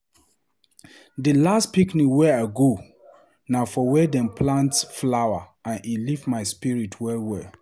Di last picnic wey I go na for where dem plant green flower, and e lift my spirit well well!